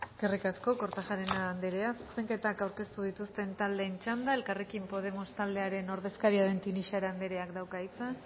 eskerrik asko kortajarena andrea zuzenketak aurkeztu dituzten taldeen txanda elkarrekin podemos taldearen ordezkaria den tinixara andreak dauka hitza